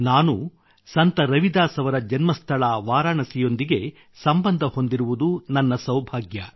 ನಾನು ಸಂತ ರವಿದಾಸ್ ಅವರ ಜನ್ಮಸ್ಥಳ ವಾರಾಣಸಿಯೊಂದಿಗೆ ಸಂಬಂಧ ಹೊಂದಿರುವುದು ನನ್ನ ಸೌಭಾಗ್ಯ